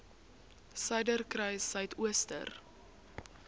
suiderkruissuidooster